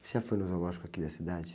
Você já foi no zoológico aqui da cidade?